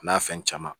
A n'a fɛn caman